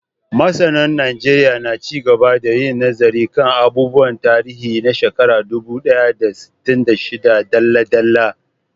Masanan Najeriya na ci gaba da yin nazari kan abubuwan tarihi na shekarar dubu ɗaya da sittin da shida dalla-dalla.